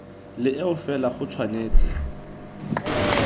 le eo fela go tshwanetse